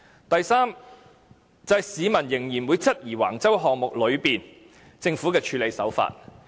第三，市民仍會質疑橫洲項目中政府的處事手法。